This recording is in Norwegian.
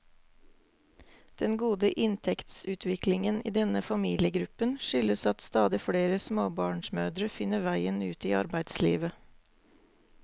Den gode inntektsutviklingen i denne familiegruppen skyldes at stadig flere småbarnsmødre finner veien ut i arbeidslivet.